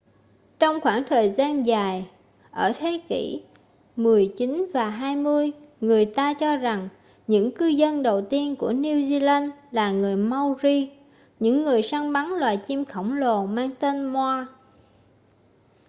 trong khoảng thời gian dài ở thế kỷ xix và xx người ta cho rằng những cư dân đầu tiên của new zealand là người maori những người săn bắn loài chim khổng lồ mang tên moa